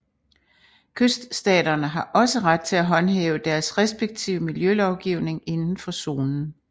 Kyststaterne har også ret til at håndhæve deres respektive miljølovgivning indenfor zonen